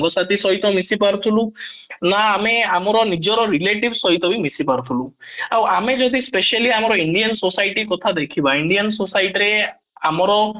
ସାଙ୍ଗ ସାଥି ସହିତ ମିଶି ପାରୁଥିଲୁ ନା ଆମେ ଆମର ନିଜ relative ସହିତ ମିଶିପାରୁଥିଲୁ ଆଉ ଆମେ ଯଦି especially ଆମ indian society କଥା ଦେଖିବା indian society ରେ ଆମର